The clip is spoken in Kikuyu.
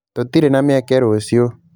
Tũtirĩ na mĩeke rũciũ